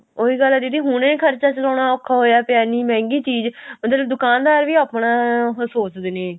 ਉਹੀ ਗੱਲ ਆ ਦੀਦੀ ਹੁਣੇ ਖਰਚਾ ਚਲਾਉਣਾ ਔਖਾ ਹੋਇਆ ਪਿਆ ਇੰਨੀ ਮਿਹੰਗੀ ਚੀਜ਼ ਮਤਲਬ ਦੁਕਾਨਦਾਰ ਵੀ ਆਪਣਾ ਸੋਚਦੇ ਨੇ